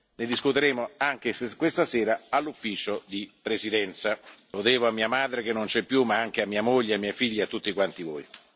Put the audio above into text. Ne discuteremo, anche questa sera, all'Ufficio di presidenza. Lo devo a mia madre, che non c'è più, ma anche a mia moglie, a mia figlia e a tutte quante voi.